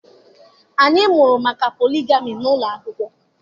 Anyị mụrụ maka poligami n'ụlọ akwụkwọ